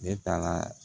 Ne taara